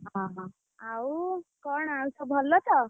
ଓହୋ ଆଉ କଣ ଆଉ ସବୁ ଭଲ ତ?